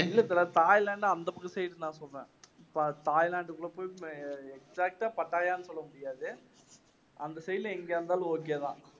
Thailand அந்த பக்கம் side நான் சொல்றேன் இப்ப தாய்லாந்துக்குள்ள போய் exact ஆ பட்டாயான்னு சொல்லமுடியாது அந்த side ல எங்க இருந்தாலும் okay தான்.